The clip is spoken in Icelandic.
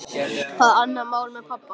Það er annað mál með pabba.